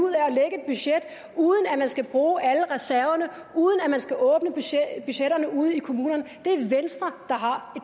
ud af at man skal bruge alle reserverne uden at man skal åbne budgetterne ude i kommunerne det er venstre der har